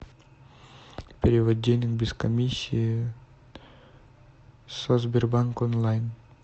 перевод денег без комиссии со сбербанк онлайн